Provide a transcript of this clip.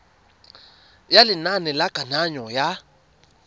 ya lenane la kananyo ya